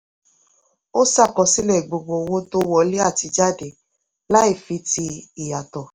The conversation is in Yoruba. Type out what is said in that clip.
ó ṣàkọsílẹ̀ gbogbo owó tó wọlé àti jáde láì fi ti ìyàtọ̀.